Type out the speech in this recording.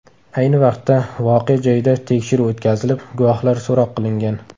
Ayni vaqtda voqea joyida tekshiruv o‘tkazilib, guvohlar so‘roq qilingan.